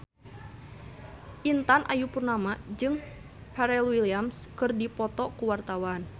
Intan Ayu Purnama jeung Pharrell Williams keur dipoto ku wartawan